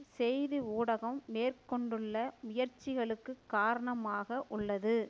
செய்தி ஊடகம் மேற்கொண்டுள்ள முயற்சிகளுக்கு காரணமாக உள்ளது